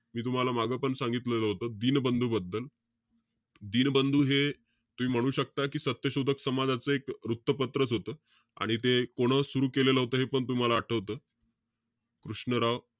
मी तुम्हाला मागं पण सांगितलेलं होतं. दीनबंधू बद्दल. दीनबंधू हे, तुम्ही म्हणू शकता कि, सत्यशोधक समाजाचं एक वृत्तपत्रंच होतं. आणि ते कोणं सुरु केलेलं होतं हे पण तुम्हाला आठवतं. कृष्णराव,